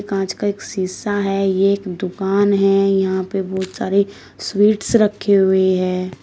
कांच का एक शीशा है ये एक दुकान है यहां पर बहुत सारे स्वीट्स रखे हुए हैं।